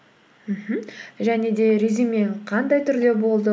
мхм және де резюмең қандай түрде болды